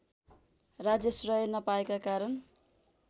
राज्याश्रय नपाएका कारण